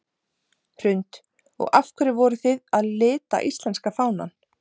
Hrund: Og af hverju voruð þið að lita íslenska fánann?